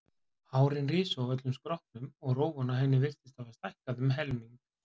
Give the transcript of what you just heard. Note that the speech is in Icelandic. Hárin risu á öllum skrokknum og rófan á henni virtist hafa stækkað um helming.